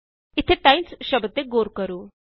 ਇਥੇ ਟਾਈਮਜ਼ ਸ਼ਬਦ ਤੇ ਗੌਰ ਕਰੋ